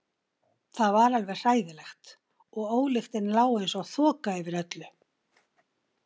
Það var alveg hræðilegt og ólyktin lá einsog þoka yfir öllu.